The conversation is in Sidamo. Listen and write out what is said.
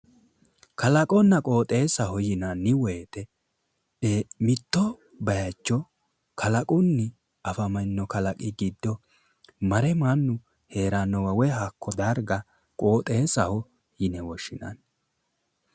Kalaqonna qooxeessaho yinanni woyite mitto bayicho kalaqunni afamino kalaqi giddo mare mannu heerannowa woyi hakko darga qooxeessaho yine woshshinanni